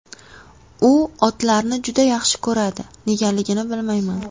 U otlarni juda yaxshi ko‘radi, negaligini bilmayman”.